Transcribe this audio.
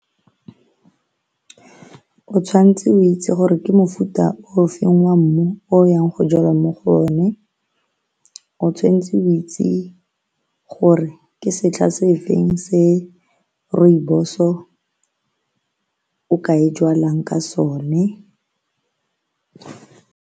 O tshwanetse o itse gore ke mofuta o feng wa mmu o o yang go jala mo go one, o tshwanetse o itse gore ke setlha se feng se rooibos-o ka e jwalang ka sone.